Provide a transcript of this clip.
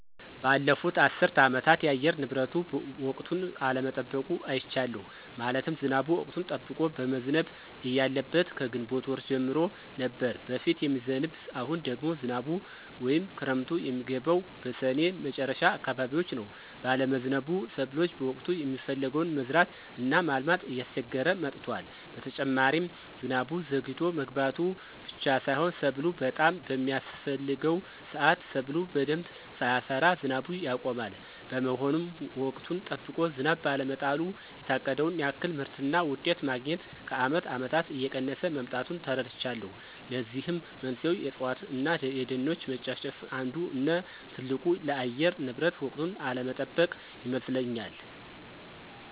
ባለፉት አስር አመታት የአየር ንብረቱ ወቅቱን አለመጠበቁን አይቻለሁ። ማለትም ዝናቡ ወቅቱን ጠብቆ መዝነብ እያለበት ከግንቦት ወር ጀምሮ ነበር በፊት የሚዝንብ አሁን ደግሞ ዝናቡ ወይም ክረምቱ የሚገባው በስኔ መጨረሻ አካባቢዎች ነው ባለመዝነቡ ሰብሎ በወቅቱ የሚፈለገውን መዝራት እና ማልማት እያስቸገረ መጥቷል። በተጨማሪ ዝናቡ ዘግይቶ መግባቱ ብቻ ሳይሆን ሰብሉ በጣም በሚያስፍሕገው ስአት ሰብሉ በደንብ ሳያፈራ ዝናቡ ያቆማል። በመሆኑም ወቅቱን ጠብቆ ዝናብ ባለመጣሉ የታቀደውን ያክል ምርትና ውጤት ማግኞት ከአመት አመታት እየቀነሰ መምጣቱን ተረድቻለሁ። ለዚህም መንስኤው የእፅዋት እነ የደኖች መጨፍጨፍ አንዱ እነ ትልቁ ለአየር ንብረት ወቅቱን አለመጠበቅ ይመስለኞል።